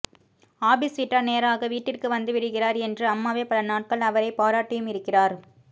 office விட்டா நேராக வீட்டிற்கு வந்துவிடுகிறார் என்று அம்மாவே பல நாட்கள் அவரை பாராட்டியும் இருக்கிறார்